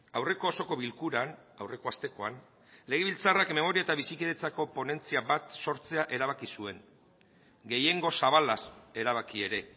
aurreko osoko bilkuran aurreko astekoan legebiltzarrak memoria eta bizikidetzako ponentzia bat sortzea erabaki zuen gehiengo zabalaz erabaki ere